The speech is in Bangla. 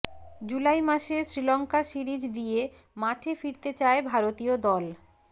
জুলাই মাসে শ্রীলঙ্কা সিরিজ দিয়ে মাঠে ফিরতে চায় ভারতীয় দল